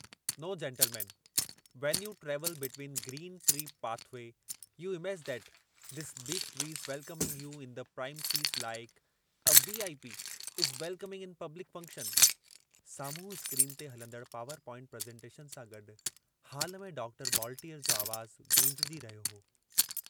नौ gentleman when you travel between green tree path way, you image that these big trees welcoming you in the premises like a VIP. Is welcoming in public function " साम्हूं screen ते हलंदड़ power point presentation सां गॾु hall में doctor बॉलटीअर जो आवाजु गूंजजी रहियो हो।